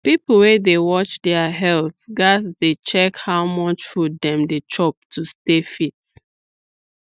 people wey dey watch their health gats dey check how much food dem dey chop to stay fit